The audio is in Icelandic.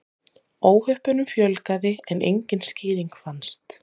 Óhöppunum fjölgaði en engin skýring fannst.